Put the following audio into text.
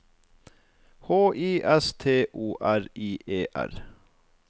H I S T O R I E R